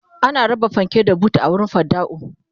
ana raba fanke da buta a wurin fidda'u